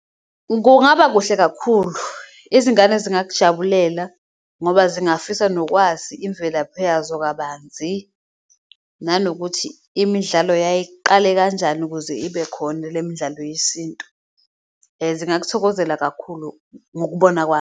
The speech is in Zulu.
Kungaba kuhle kakhulu, izingane zingakujabulela ngoba zingafisa nokwazi imvelaphi yazo kabanzi, nanokuthi imidlalo yayiqale kanjani ukuze ibe khona le midlalo yesintu. Zingakuthokozela kakhulu ngokubona kwami.